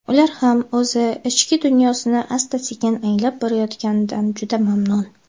Ular ham o‘z ichki dunyosini asta-sekin anglab borayotganidan juda mamnun.